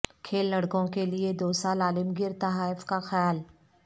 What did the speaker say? کھیل لڑکوں کے لئے دو سال عالمگیر تحائف کا خیال